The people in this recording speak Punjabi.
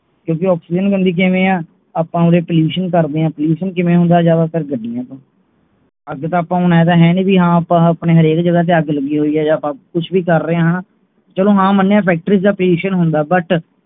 ਕਿਉਂਕਿ ਓਕ੍ਸੀਜਨ ਗੰਦੀ ਕੀਵੇਂ ਆਂ ਆਪਾ ਉਹਦੇ pollution ਕਰਦੇ ਹਾਂ pollution ਕਿਵੇਂ ਹੁੰਦਾ ਹੈ ਜ਼ਿਆਦਾਤਰ ਗੱਡੀਆਂ ਤੋਂ ਅੱਗ ਆਪਾਂ ਹਰ ਇਕ ਜਗ੍ਹਾ ਤੋਂ ਅੱਗ ਲੱਗੀ ਹੋਈ ਹੈ ਕੁਛ ਵੀ ਕਰ ਰਹੀ ਹਾਂ ਚਲੋ ਮਣਿਆ ਕਿ factory ਤੇ pollution ਹੁੰਦਾ ਹੈ but